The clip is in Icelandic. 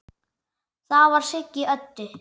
Það var Siggi Öddu.